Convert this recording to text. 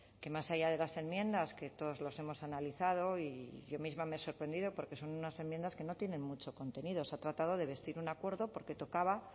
que más allá de las enmiendas que todas las hemos analizado y yo misma me he sorprendido porque son unas enmiendas que no tienen mucho contenido se ha tratado de vestir un acuerdo porque tocaba